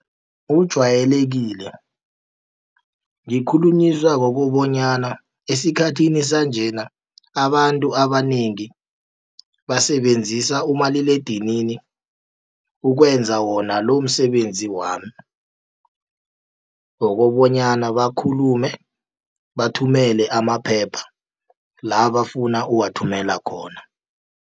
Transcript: Ujayelekile ngikhulunyiswa kukobonyana, esikhathini sanjena abantu abanengi basebenzisa umaliledinini, ukwenza wona lomsebenzi wami, wokobonyana bakhulume, bathumele amaphepha la bafuna uwathumela khona.